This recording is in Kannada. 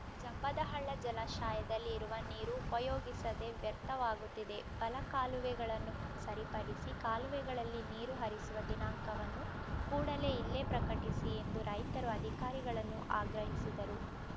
ಜಂಬದಹಳ್ಳ ಜಲಾಶಯದಲ್ಲಿ ಇರುವ ನೀರು ಉಪಯೋಗಿಸದೇ ವ್ಯರ್ಥವಾಗುತ್ತಿದೆ ಬಲ ಕಾಲುವೆಗಳನ್ನು ಸರಿಪಡಿಸಿ ಕಾಲುವೆಗಳಲ್ಲಿ ನೀರು ಹರಿಸುವ ದಿನಾಂಕವನ್ನು ಕೂಡಲೇ ಇಲ್ಲೇ ಪ್ರಕಟಿಸಿ ಎಂದು ರೈತರು ಅಧಿಕಾರಿಗಳನ್ನು ಆಗ್ರಹಿಸಿದರು